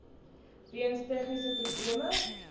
weens tegniese probleme